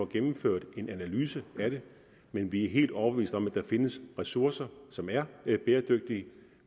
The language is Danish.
gennemført en analyse af det men vi er helt overbeviste om at der findes ressourcer som er bæredygtige